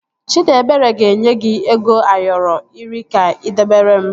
Chidiebere ga-enye gị ego Ayoro iri ka ị debere m